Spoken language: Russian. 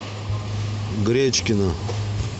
гречкина